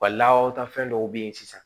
Wa lawtafɛn dɔw be yen sisan